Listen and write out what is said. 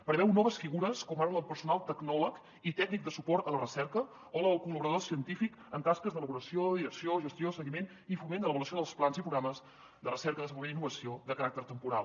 preveu noves figures com ara la del personal tecnòleg i tècnic de suport a la recerca o la de col·laboradors científics en tasques d’elaboració direcció gestió seguiment i foment de l’avaluació dels plans i programes de recerca desenvolupament i innovació de caràcter temporal